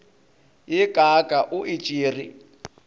ye kaaka o e tšere